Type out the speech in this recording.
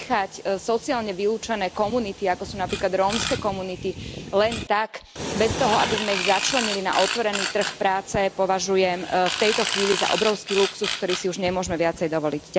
Nechať sociálne vylúčené komunity, ako sú napríklad rómske komunity, len tak, bez toho, aby sme ich začlenili na otvorený trh práce, považujem v tejto chvíli za obrovský luxus, ktorý si už nemôžeme viac dovoliť.